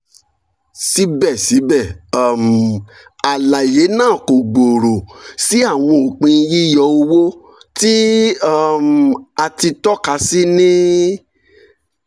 sibẹsibẹ um alaye naa ko gbooro si awọn opin yiyọ owo ti um a ti tọka si ni